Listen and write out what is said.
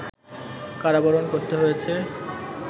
কারাবরণ করতে হয়েছে